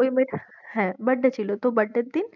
ওই মেয়েটা হ্যাঁ birthday ছিল, তো birthday র দিন।